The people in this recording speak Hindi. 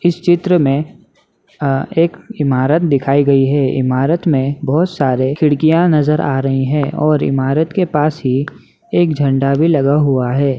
इस चित्र में अ एक इमारत दिखाई गई है इमारत में बहुत सारे खिड़कियां नजर आ रही है और इमारत के पास ही एक झंडा भी लगा हुआ हैं।